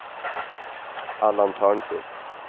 Allan Törnqvist